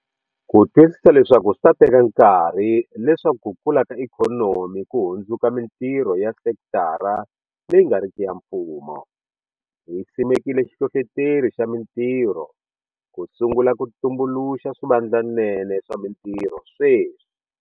Ku twisisa leswaku swi ta teka nkarhi leswaku ku kula ka ikhonomi ku hundzuka mitirho ya sekitara leyi nga riki ya mfumo, hi simekile xihlohloteri xa mitirho ku sungula ku tumbuluxa swivandlanene swa mitirho sweswi.